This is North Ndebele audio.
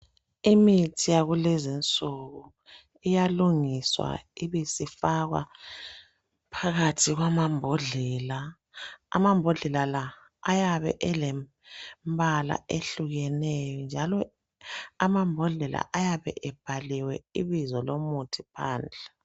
Imithi yakulezinsuku, iyalungiswa ibisifakwa phakathi kwamambodlela. Amambodlela la ayabe elembala ehlukeneyo njalo amambodlela ayabe ebhaliwe ibizo lomuthi phandle.